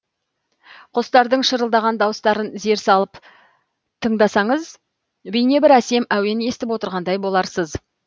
құстардың шырылдаған дауыстарын зер залып тыңдасаңыз бейне бір әсем әуен естіп отырғандай боларсыз